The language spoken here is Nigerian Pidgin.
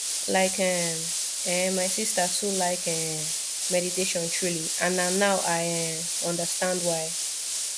like um eh my sister too like um meditation truely and na now i um understand why